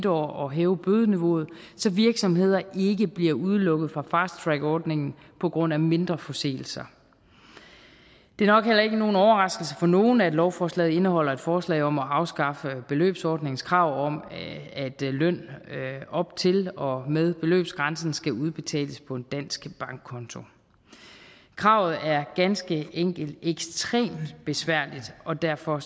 år og hæve bødeniveauet så virksomheder ikke bliver udelukket fra fast track ordningen på grund af mindre forseelser det er nok heller ikke nogen overraskelse for nogen at lovforslaget indeholder et forslag om at afskaffe beløbsordningens krav om at løn op til og med beløbsgrænsen skal udbetales på en dansk bankkonto kravet er ganske enkelt ekstremt besværligt og derfor